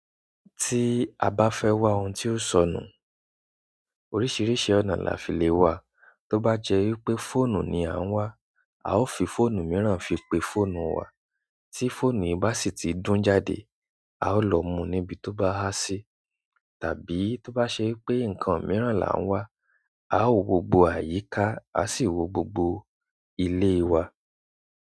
Tí a bá fẹ́ wá ohun tí ó sọnù, oríṣiríṣi ọ̀nà la fi lè wá. Tóbá jẹ́ wípé fóònù ni à ń wá, a ó fi fóònù mìíràn fi pe fóònù wa. Tí fóònù yìí bá sì ti dún jáde, a ó lọ mú níbi tó bá há sí. Tàbí tó bá ṣe pé nǹkan mìíràn là ń wá, a ó wo gbogbo àyíká, a sì wo gbogbo ilé wa.